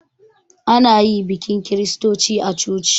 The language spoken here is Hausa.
Ana yi bikin kiristoci a coci